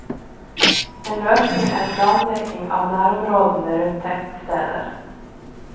En løsning er planlegging av nærområdene rundt tettsteder.